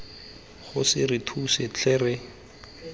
kgosi re thuse tlhe re